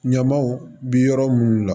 Ɲamaw bi yɔrɔ munnu na